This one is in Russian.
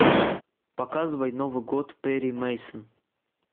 показывай новый год перри мейсон